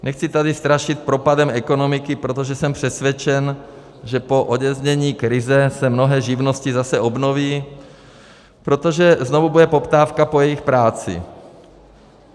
Nechci tady strašit propadem ekonomiky, protože jsem přesvědčen, že po odeznění krize se mnohé živnosti zase obnoví, protože znovu bude poptávka po jejich práci.